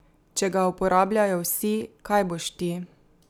Če ga uporabljajo vsi, kaj boš ti?